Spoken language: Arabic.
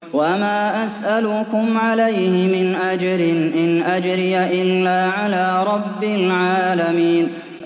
وَمَا أَسْأَلُكُمْ عَلَيْهِ مِنْ أَجْرٍ ۖ إِنْ أَجْرِيَ إِلَّا عَلَىٰ رَبِّ الْعَالَمِينَ